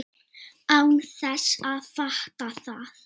Án þess að fatta það.